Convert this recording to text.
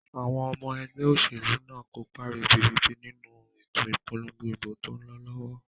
Àwon omo egbé òsèlú náà nkópa ribiribi nínu ètò ìpolongo ìbò tón lo lówó